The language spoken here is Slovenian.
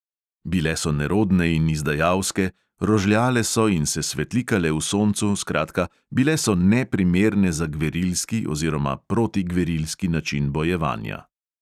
Bile so nerodne in izdajalske, rožljale so in se svetlikale v soncu, skratka, bile so neprimerne za gverilski oziroma protigverilski način bojevanja.